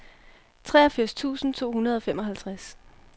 treogfirs tusind to hundrede og femoghalvtreds